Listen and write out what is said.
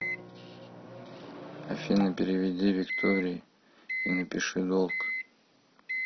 афина переведи викторие и напиши долг